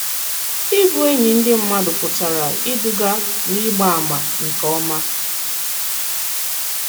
Ị̀bụ̀ ènỳí ndị mmàdù pụtara ìdùgà n'ị̀gbà àmà nke òma.